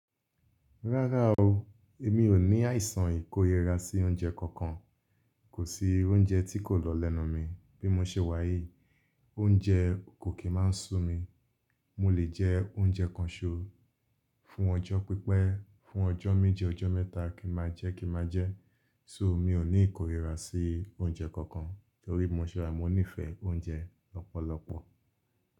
Rárá o, èmi ò ní àìsàn ìkórira sí oúnjẹ kankan. Kò sí oúnjẹ tí kò lọ lẹ́nu mi. Bí mo ṣe wà yìí, oúnjẹ kò kí máa ń sú mi. Mo lè jẹ oúnjẹ kan ṣo, fún ọjọ́ pípẹ́, fún ọjọ́ méje, ọjọ́ mẹ́ta, kí máa jẹ́ kí máa jẹ́. So mi ò ní ìkórira sí oúnjẹ kankan, torí bi mo ṣe wa ní ìfẹ́ oúnjẹ lọ́pọ̀lọpọ̀.